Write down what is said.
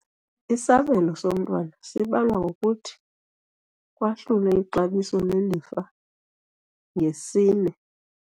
Isabelo somntwana sibalwa ngokuthi kwahlule ixabiso lelifa ngesine.